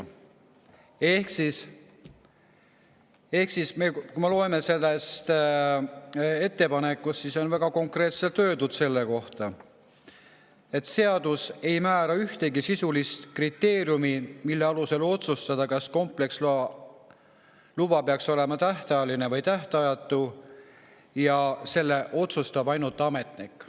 Kui me loeme seda ettepanekut, siis selles on väga konkreetselt öeldud, et seadus ei määra ühtegi sisulist kriteeriumi, mille alusel otsustada, kas kompleksluba peaks olema tähtajaline või tähtajatu, ja selle otsustab ainult ametnik.